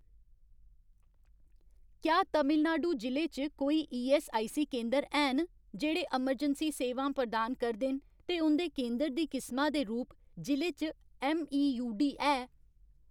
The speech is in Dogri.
क्या तमिलनाडु जि'ले च कोई ईऐस्सआईसी केंदर हैन जेह्ड़े अमरजैंसी सेवां प्रदान करदे न ते उं'दे केंदर दी किसमा दे रूप जि'ले च ऐम्मईयूडी है ?